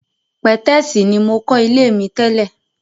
Pẹ̀tẹ́sì ní mokọ́ ilé mi tẹ́lè.